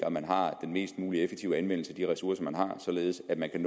at man har den mest mulig effektive anvendelse af de ressourcer man har således at man kan